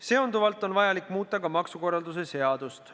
Seonduvalt on vajalik muuta ka maksukorralduse seadust.